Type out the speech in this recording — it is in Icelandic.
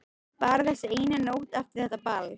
Bara þessi eina nótt eftir þetta ball.